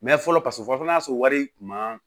Mɛ fɔlɔ paseke fɔ n'a sɔrɔ wari tun ma